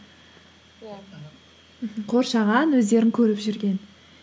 иә аха қоршаған өздерің көріп жүрген